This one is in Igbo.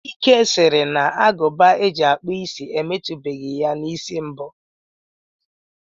Chike sịrị na Agụba e ji akpụ isi emetubeghi ya n'isi mbụ